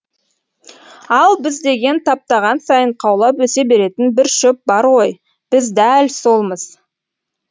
ал біз деген таптаған сайын қаулап өсе беретін бір шөп бар ғой біз дәл солмыз